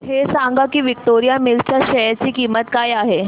हे सांगा की विक्टोरिया मिल्स च्या शेअर ची किंमत काय आहे